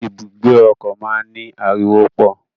Ibùgbé ọkọ máa n ni ariwo pọ.